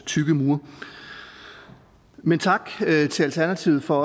tykke mure men tak til alternativet for